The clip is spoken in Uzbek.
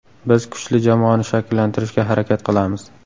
Biz kuchli jamoani shakllantirishga harakat qilamiz.